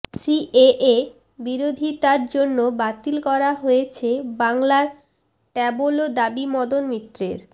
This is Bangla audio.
সিএএ বিরোধিতার জন্য বাতিল করা হয়েছে বাংলার ট্যাবলো দাবি মদন মিত্রের